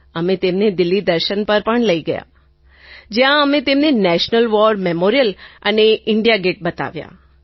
અમે તેમને દિલ્લી દર્શન પર પણ લઈને ગયા હતા જ્યાં અમે તેમને નેશનલ વૉર મેમોરિયલ અને ઇન્ડિયા ગેટ બતાવ્યાં